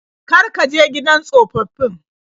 Kar ka je gidan tsofaffin.